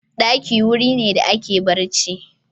Ɗaki wuri ne da ake barci.